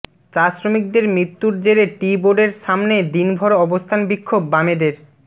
চা শ্রমিকদের মৃত্যুর জেরে টি বোর্ডের সামনে দিনভর অবস্থান বিক্ষোভ বামেদের